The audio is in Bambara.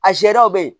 A serew be yen